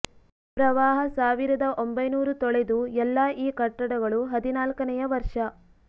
ಪ್ರವಾಹ ಸಾವಿರದ ಒಂಭೈನೂರು ತೊಳೆದು ಎಲ್ಲಾ ಈ ಕಟ್ಟಡಗಳು ಹದಿನಾಲ್ಕನೆಯ ವರ್ಷ